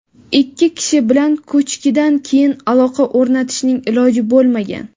ikki kishi bilan ko‘chkidan keyin aloqa o‘rnatishning iloji bo‘lmagan.